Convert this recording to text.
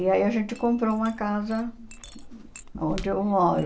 E aí a gente comprou uma casa onde eu moro